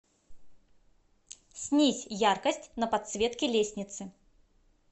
снизь яркость на подсветке лестницы